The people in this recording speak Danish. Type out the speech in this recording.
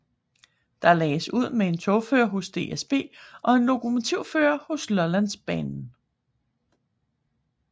Der lagdes ud med en togfører hos DSB og en lokomotivfører hos Lollandsbanen